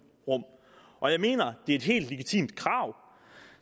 rum og jeg mener det er et helt legitimt krav